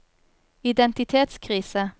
identitetskrise